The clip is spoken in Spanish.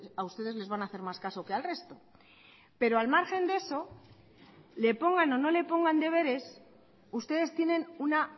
a ustedes les van a hacer más caso que al resto pero al margen de eso le pongan o no le pongan deberes ustedes tienen una